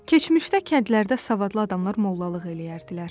Keçmişdə kəndlərdə savadlı adamlar mollalıq eləyərdilər.